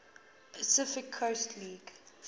pacific coast league